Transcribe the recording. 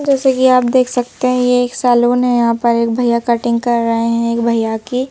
जैसे कि आप देख सकते हैं यह एक सैलून है यहां पर एक भैया कटिंग कर रहे हैं एक भैया की।